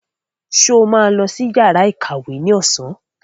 Sọ ma lọ sí yàrá ìkàwé ní ọ̀sán?